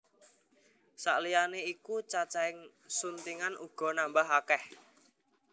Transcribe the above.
Saliyané iku cacahing suntingan uga nambah akèh